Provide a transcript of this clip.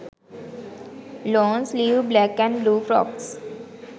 long sleeve black & blue frocks